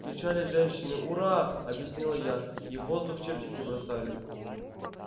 кричали женщины ура объяснила я и в воздух чепчики бросали